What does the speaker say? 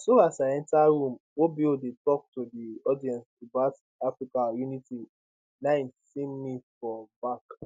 na so as i enta room obo dey tok to di audience about africa unity na im see me for back